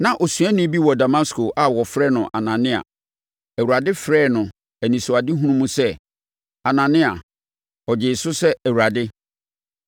Na osuani bi wɔ Damasko a wɔfrɛ no Anania. Awurade frɛɛ no anisoadehunu mu sɛ, “Anania!” Ɔgyee so sɛ, “Awurade!”